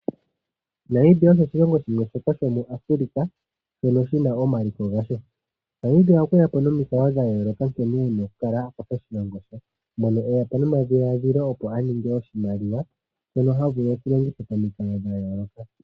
Namibia osho oshilongo shimwe shoka shomuAfrika shono shi na omaliko gasho. Namibia okwe ya po nomikalo dha yooloka, nkene e na okukala a kwatha oshilongo she, mono e ya po nomadhiladhilo opo a ninge oshimaliwa, shono ha vulu shi okulongitha momikalo dha yooloka.